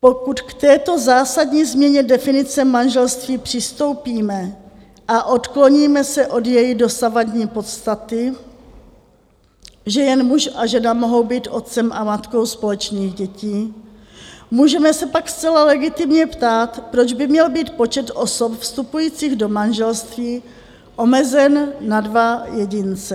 Pokud k této zásadní změně definice manželství přistoupíme a odkloníme se od její dosavadní podstaty, že jen muž a žena mohou být otcem a matkou společných dětí, můžeme se pak zcela legitimně ptát, proč by měl být počet osob vstupujících do manželství omezen na dva jedince.